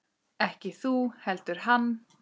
Ekki þú heldur hann.